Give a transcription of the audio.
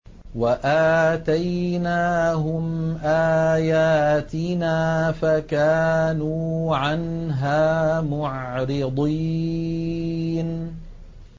وَآتَيْنَاهُمْ آيَاتِنَا فَكَانُوا عَنْهَا مُعْرِضِينَ